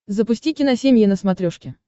запусти киносемья на смотрешке